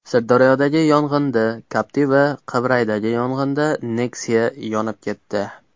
Sirdaryodagi yong‘inda Captiva, Qibraydagi yong‘inda Nexia yonib ketdi.